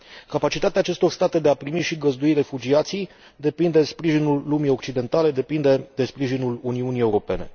Capacitatea acestor state de a primi și găzdui refugiații depinde de sprijinul lumii occidentale, depinde de sprijinul Uniunii Europene.